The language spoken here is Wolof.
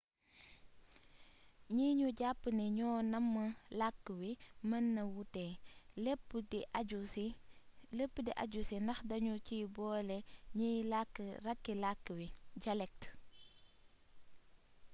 gni ñu jàpp ni ñoo namm làkk wi mën na wuute lépp di aju ci ndax dañu ciy boole ñiy làkk rakki làkk wi dialecte